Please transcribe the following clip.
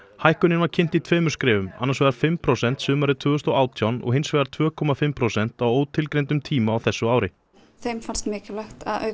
hækkunin var kynnt í tveimur skrefum annars vegar fimm prósent sumarið tvö þúsund og átján og hins vegar tveir komma fimm prósent á ótilgreindum tíma á þessu ári þeim fannst mikilvægt